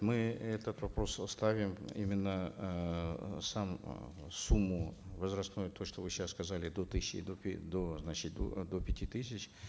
мы этот вопрос вот ставим именно эээ сам эээ сумму возрастной то что вы сейчас сказали до тысячи до до значит э до пяти тысяч